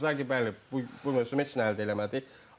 İnzaqi bəli bu mövsüm heç nə əldə eləmədi.